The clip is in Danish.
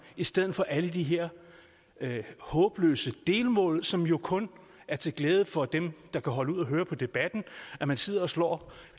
i stedet for alle de her håbløse delmål som jo kun er til glæde for dem der kan holde ud at høre på debatten hvor man sidder og slår